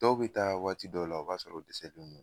Dɔw be taa waati dɔw la o b'a sɔrɔ disɛti nunnu